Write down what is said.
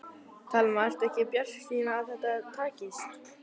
Telma: Ert þú bjartsýnn á að þetta takist?